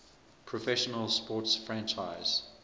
professional sports franchise